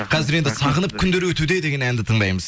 қазір енді сағынып күндер өтуде деген әнді тыңдаймыз